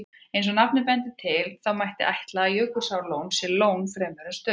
Eins og nafnið bendir til, mætti ætla að Jökulsárlón sé lón fremur en stöðuvatn.